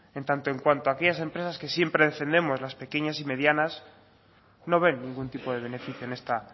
en tanto en cuanto aquellas empresas que siempre defendemos las pequeñas y medianas no ven ningún tipo de beneficio en esta